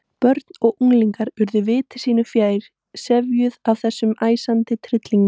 Börn og unglingar urðu viti sínu fjær, sefjuð af þessum æsandi tryllingi.